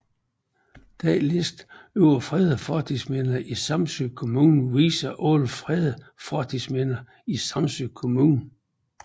Denne liste over fredede fortidsminder i Samsø Kommune viser alle fredede fortidsminder i Samsø Kommune